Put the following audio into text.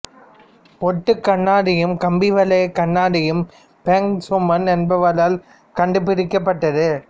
ஒட்டுக் கண்ணாடியும் கம்பிவலைக் கண்ணாடியும் பிராங்க் சூமன் என்பவரால் கண்டுபிடிக்கப்பட்டது